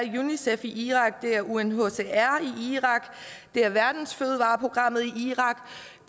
unicef i irak det er unhcr i irak det er verdensfødevareprogrammet i irak